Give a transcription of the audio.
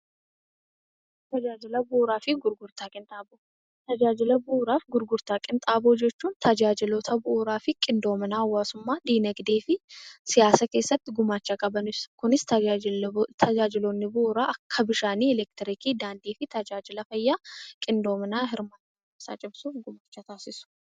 Tajaajila Bu'uuraa fi Gurgurtaa Qinxaaboo Tajaajila Bu'uuraaf Gurgurtaa Qinxaaboo jechuun tajaajiloota bu'uuraa fi qindoomina hawaasummaa, dinagdee fi siyaasa keessa tti gumaacha qaban ibsa. Kunis tajaajiloonni bu'uraa akka Bishaanii, Ekektiriikii, Daandii fi tajaajila fayyaa qindoominaan hirmaannaa isaa cimsuun gumaacha taasisu.